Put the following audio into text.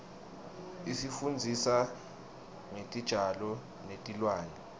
isifundzisa ngetitjalo netilwane